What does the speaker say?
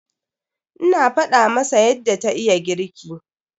Ina faɗa masa yadda ta iya girki.